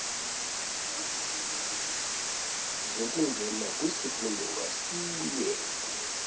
zokungena kwisifundo ngasinye